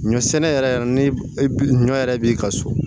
Ɲɔ sɛnɛ yɛrɛ ni ɲɔ yɛrɛ b'i ka so